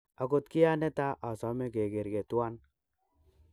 okot kia neta asome kegerge tuan.